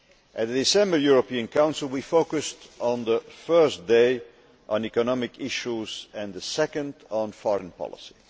At the December European Council, we focused on the first day on economic issues and on the second day on foreign policy.